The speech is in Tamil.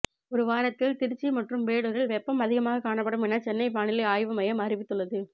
ஒரு வாரத்தில் திருச்சி மற்றும் வேலூரில் வெப்பம் அதிகமாக காணப்படும் என சென்னை வானிலை ஆய்வு மையம் அறிவித்துள்ளது